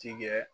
Tigɛ